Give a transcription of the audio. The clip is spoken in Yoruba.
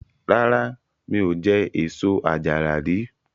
Rárá, mi ò jẹ èso àjàrà rí.